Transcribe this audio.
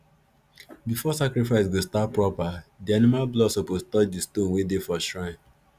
before sacrifice go start proper the animal blood suppose touch the stone wey dey for shrine